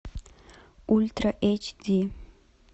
ультра эйч ди